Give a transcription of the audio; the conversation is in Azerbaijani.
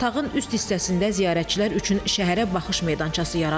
Tağın üst hissəsində ziyarətçilər üçün şəhərə baxış meydançası yaradılır.